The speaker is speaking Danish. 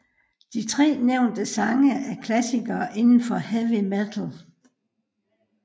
De tre nævnte sange er klassikere indenfor Heavy Metal